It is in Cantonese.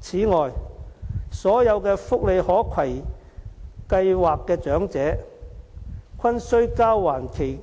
此外，所有福利可攜計劃的長者，均須交還其